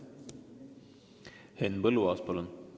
Henn Põlluaas, palun!